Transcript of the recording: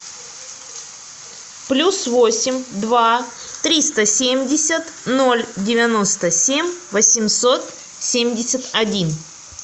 плюс восемь два триста семьдесят ноль девяносто семь восемьсот семьдесят один